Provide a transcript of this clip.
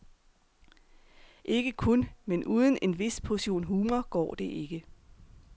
Ikke kun, men uden en vis portion humor går det ikke.